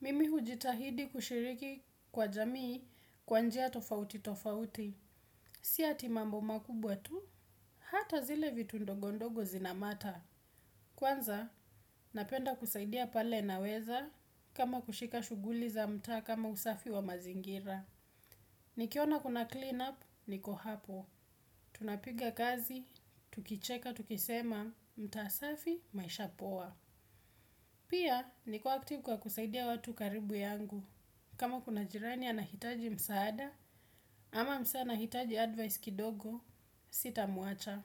Mimi hujitahidi kushiriki kwa jamii kwa njia tofauti tofauti. Si ati mambo makubwa tu, hata zile vitu ndogondogo zina matter. Kwanza napenda kusaidia pale naweza kama kushika suguli za mtaa kama usafi wa mazingira. Nikiona kuna clean up, niko hapo. Tunapiga kazi, tukicheka, tukisema, mtaa safi, maisha poa. Pia, niko active kwa kusaidia watu karibu yangu. Kama kuna jirani anahitaji msaada, ama msee anahitaji advice kidogo, sita muacha.